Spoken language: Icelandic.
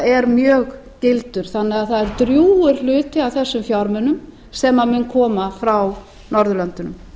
er mjög gildur þannig að það er drjúgur hluti af þessum fjármunum sem mun koma frá norðurlöndunum